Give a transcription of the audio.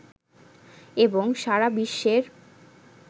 এবং সারা বিশ্বের